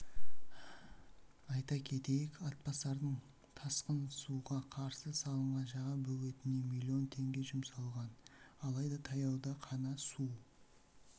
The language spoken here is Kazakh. айта кетейік атбасардың тасқын суға қарсы салынған жаңа бөгетіне млн теңге жұмсалған алайда таяуда қана су